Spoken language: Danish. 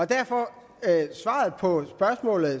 derfor